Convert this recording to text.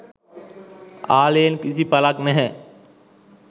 ආලයෙන් කිසි පලක් නැහැ.